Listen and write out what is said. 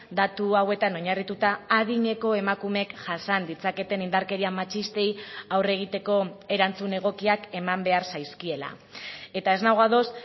datu hauetan oinarrituta adineko emakumeek jasan ditzaketen indarkeria matxistei aurre egiteko erantzun egokiak eman behar zaizkiela eta ez nago ados